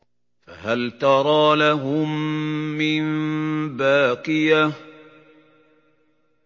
فَهَلْ تَرَىٰ لَهُم مِّن بَاقِيَةٍ